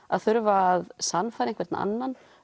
að þurfa að sannfæra einhvern annan